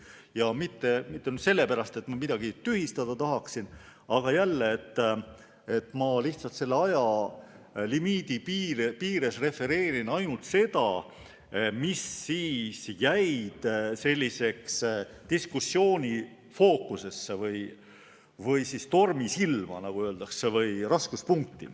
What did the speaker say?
Ja mitte sellepärast, et ma midagi tühistada tahaksin, vaid olemasoleva aja piires refereerin ainult seda, mis jäi diskussiooni fookusesse või tormisilma, nagu öeldakse, või mis moodustas raskuspunkti.